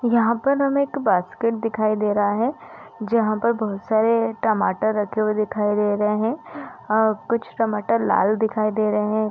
यहाँ पर हमें एक बास्केट दिखाई दे रहा है जहाँ पे बहुत सारे टमाटर रखे हुए दिखाई दे रहे है और कुछ टमाटर लाल दिखाई दे रहे है।